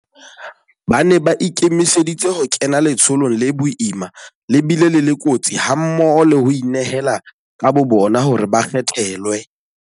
Ba ne ba ikemiseditse ho kena letsholong le boima le bile le le kotsi hammoho le ho inehela ka bobona hore ba kgethelwe.